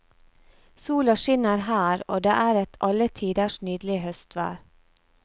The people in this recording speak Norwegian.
Sola skinner her, og det er et alle tiders nydelig høstvær.